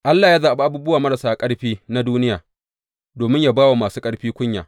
Allah ya zaɓi abubuwa marasa ƙarfi na duniya, domin ya ba wa masu ƙarfi kunya.